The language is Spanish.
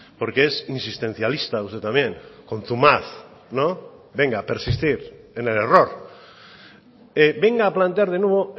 porque es insistencialista usted también contumaz no venga a persistir en el error venga a plantear de nuevo